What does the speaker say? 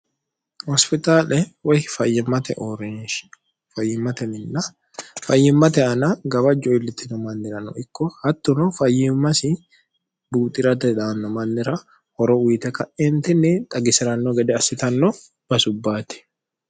hospitaale woy fimate orinshi fayimmateminna fayyimmate ana gabajjo iillittino mannira no ikko hattuno fayyimmasi buuxi'rade daanno mannira horo uyite ka'eentinni xagisi'ranno gede assitanno basubbaati